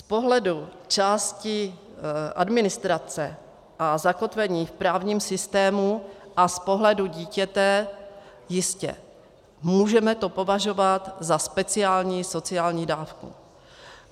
Z pohledu části administrace a zakotvení v právním systému a z pohledu dítěte jistě, můžeme to považovat za speciální sociální dávku.